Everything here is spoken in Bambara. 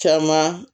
Caman